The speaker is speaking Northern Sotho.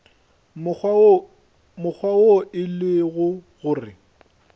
mokgwa wo e lego gore